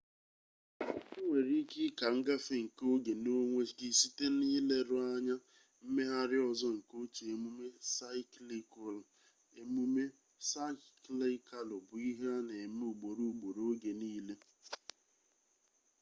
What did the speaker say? ị nwere ike ịka ngafe nkke oge n'onwe gị site n'ileru anya mmegharị ọzọ nke otu emume saịklikalụ emume saịklikalụ bụ ihe na-eme ugboro ugboro oge niile